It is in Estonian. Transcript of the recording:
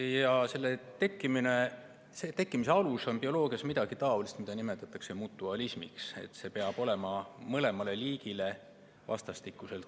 Ja selle tekkimise alus on midagi taolist, mida bioloogias nimetatakse mutualismiks: see peab olema mõlemale liigile kasulik.